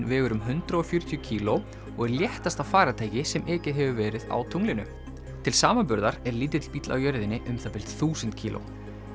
vegur um hundrað og fjörutíu kíló og er léttasta farartæki sem ekið hefur verið á tunglinu til samanburðar er lítill bíll á jörðinni þúsund kíló